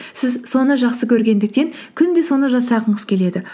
сіз соны жақсы көргендіктен күнде соны жасағыңыз келеді